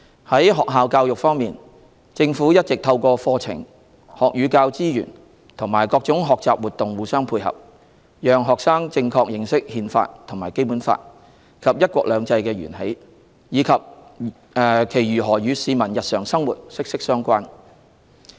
在學校教育方面，政府一直透過課程、學與教資源和各種學習活動互相配合，讓學生正確認識《憲法》、《基本法》及"一國兩制"的源起，以及其如何與市民日常生活息息相關。